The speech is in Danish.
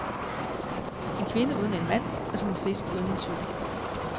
En kvinde uden en mand, er som en fisk uden en cykel.